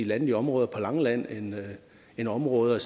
landlige områder på langeland end områder